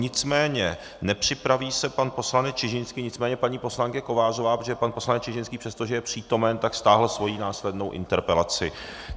Nicméně nepřipraví se pan poslanec Čižinský, nicméně paní poslankyně Kovářová, protože pan poslanec Čižinský, přestože je přítomen, tak stáhl svoji následnou interpelaci.